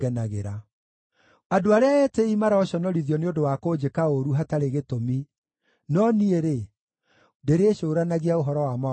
Andũ arĩa etĩĩi maroconorithio nĩ ũndũ wa kũnjĩka ũũru hatarĩ gĩtũmi; no niĩ-rĩ, ndĩrĩcũũranagia ũhoro wa mawatho maku.